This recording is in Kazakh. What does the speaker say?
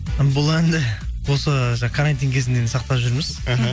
бұл әнді осы карантин кезінен сақтап жүрміз іхі